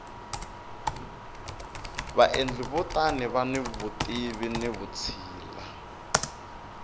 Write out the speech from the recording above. vaendli va tona vani vutivi ni vutshila